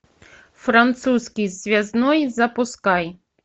французский связной запускай